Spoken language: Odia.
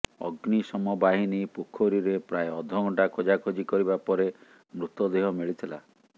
ଅଗ୍ନିଶମ ବାହିନୀ ପୋଖରୀରେ ପ୍ରାୟ ଅଧଘଣ୍ଟା ଖୋଜାଖୋଜି କରିବା ପରେ ମୃତଦେହ ମିଳିଥିଲା